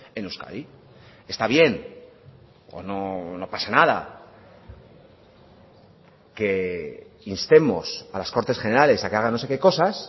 en euskadi está bien no pasa nada que instemos a las cortes generales a que hagan no sé qué cosas